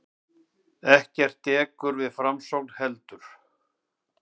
Ekkert dekur við framsókn heldur.